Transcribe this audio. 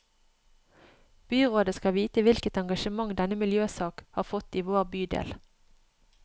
Byrådet skal vite hvilket engasjement denne miljøsaken har fått i vår bydel.